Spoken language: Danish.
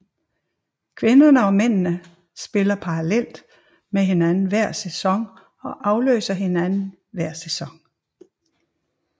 Kvinderne og mændene spiller parallelt med hinanden hver sæson og afløser hinanden hver sæson